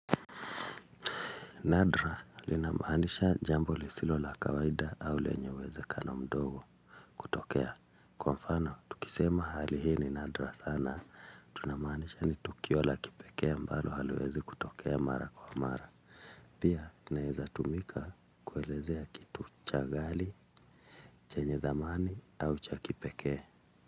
Nadra linamanisha jambo lisilo la kawaida au lenye uwezekano mdogo. Tokea. Kwa mfano, tukisema hali hii ni Nadra sana. Tunamanisha ni Tukio la kipekee ambalo haliwezi kutokea mara kwa mara. Pia, inaeza tumika kuelezea kitu cha gali, chenye thamani au cha kipekee.